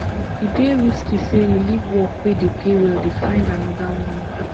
e dey risky sey you leave work wey dey pay well dey find anoda one